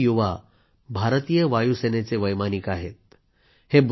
हे चारही युवा भारतीय वायूसेनेचे वैमानिक आहेत